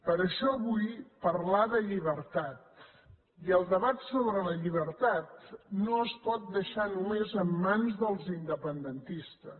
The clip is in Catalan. per això vull parlar de llibertat i el debat sobre la llibertat no es pot deixar només en mans dels independentistes